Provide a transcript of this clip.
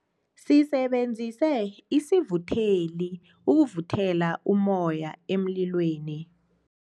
Sisebenzise isivutheli ukuvuthela ummoya emlilweni.